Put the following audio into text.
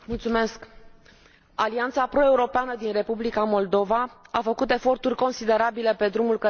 Alianța pro europeană din Republica Moldova a făcut eforturi considerabile pe drumul către Uniunea Europeană.